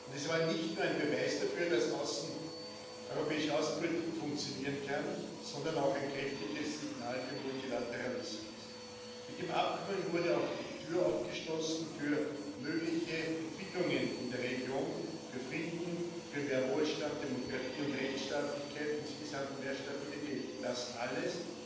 Es war nicht nur ein Beweis dafür, dass europäische Außenpolitik funktionieren kann, sondern auch ein kräftiges Signal für Multilateralismus. Mit dem Abkommen wurde auch die Tür aufgestoßen für mögliche Entwicklungen in der Region, für Frieden, für mehr Wohlstand, Demokratie und Rechtsstaatlichkeit, insgesamt mehr Stabilität das alles